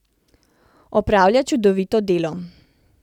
Opravlja čudovito delo.